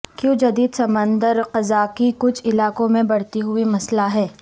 کیوں جدید سمندر قزاقی کچھ علاقوں میں بڑھتی ہوئی مسئلہ ہے